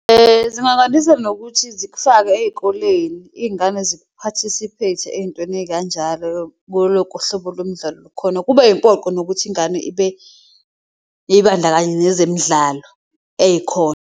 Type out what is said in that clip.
Zingakwandisa nokuthi zikufake eyikoleni iyingane ziphathisiphayithe eyintweni eyikanjalo , kuwo wonke uhlobo lomdlalo okhona, kube yimpoqo nokuthi ingane ibandakanye nezemidlalo eyikhona.